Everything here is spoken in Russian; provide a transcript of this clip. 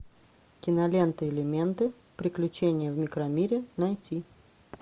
кинолента элементы приключения в микромире найти